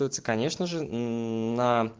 конечно же ээ на